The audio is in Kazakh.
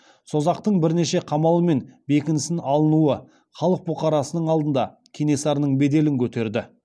созақтың бірнеше қамал мен бекіністің алынуы халық бұқарасының алдында кенесарының беделін көтерді